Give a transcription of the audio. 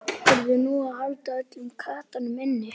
Verður nú að halda öllum köttum inni?